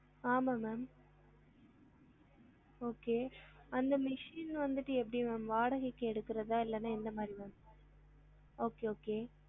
ஆமாம் ma'am okay அந்த machine வந்துட்டு எப்டி ma'am வாடகைக்கு எடுக்குறதா இல்லனா எந்த மாதிரி ma'am okay okay